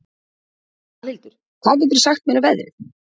Valhildur, hvað geturðu sagt mér um veðrið?